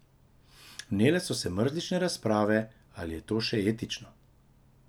Vnele so se mrzlične razprave, ali je to še etično ...